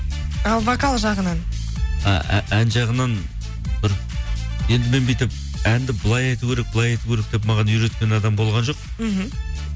ал вокал жағынан ән жағынан бір енді мен бүйтіп әнді былай айту керек былай айту керек деп маған үйреткен адам болған жоқ мхм